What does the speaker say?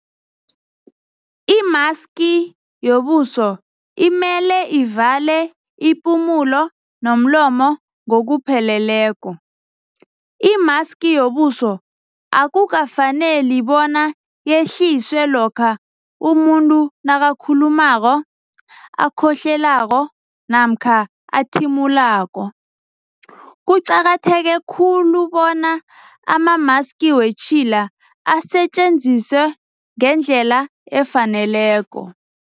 Imaski yobuso imele ivale ipumulo nomlomo ngokupheleleko. Imaski yobuso akukafaneli bona yehliswe lokha umuntu nakakhulumako, akhohlelako namkha athimulako. Kuqakatheke khulu bona amamaski wetjhila asetjenziswe ngendlela efaneleko.